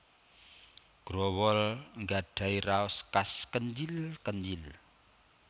Growol nggadhahi raos khas kenyil kenyil